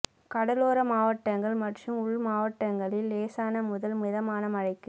கடலோர மாவட்டங்கள் மற்றும் உள் மாவட்டங்களில் லேசானது முதல் மிதமான மழைக்கு